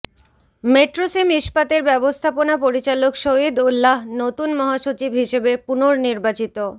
মেট্রোসেম ইস্পাতের ব্যবস্থাপনা পরিচালক শহীদ উল্লাহ্ নতুন মহাসচিব হিসেবে পুনর্নির্বাচিত